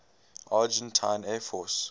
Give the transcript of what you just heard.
argentine air force